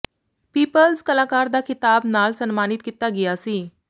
people's ਕਲਾਕਾਰ ਦਾ ਖਿਤਾਬ ਨਾਲ ਸਨਮਾਨਿਤ ਕੀਤਾ ਗਿਆ ਸੀ